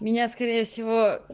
меня скорее всего